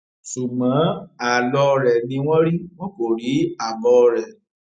ṣùgbọn àlọ rẹ ni wọn rí wọn kò rí àbọ rẹ